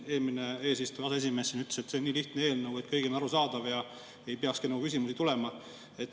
Eelmine eesistuja, aseesimees ütles, et see on nii lihtne eelnõu, et kõigile on arusaadav ja ei peakski küsimusi tulema.